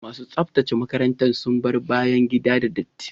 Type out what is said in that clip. Masu tsaftace makarantar sun bar bayan gida da datti.